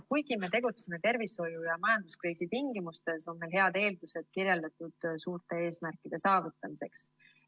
Kuigi me tegutseme tervishoiu- ja majanduskriisi tingimustes, on meil head eeldused kirjeldatud suurte eesmärkide saavutamiseks.